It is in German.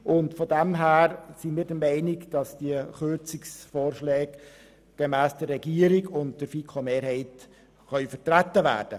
Insofern sind die Kürzungsvorschläge, die uns die Regierung und die Mehrheit der FiKo vorschlagen, vertretbar.